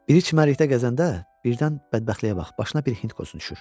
Biri çimərlikdə gəzəndə birdən bədbəxtliyə bax, başına bir hind qozu düşür.